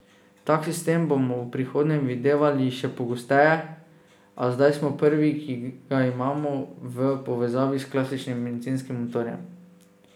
Tak sistem bomo v prihodnje videvali še pogosteje, a zdaj smo prvi, ki ga imamo v povezavi s klasičnim bencinskim motorjem.